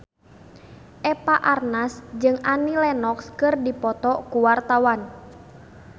Eva Arnaz jeung Annie Lenox keur dipoto ku wartawan